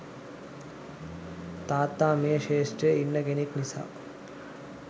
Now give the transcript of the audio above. තාත්තා මේ ක්‍ෂේත්‍රයේ ඉන්න කෙනෙක් නිසා